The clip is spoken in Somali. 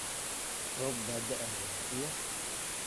Roob baa da'aya iyo.